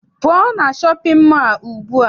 Pụọ na shọpịn mọọ a ugbua!